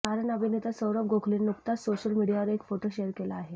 कारण अभिनेता सौरभ गोखलेने नुकताच सोशल मीडियावर एक फोटो शेअर केला आहे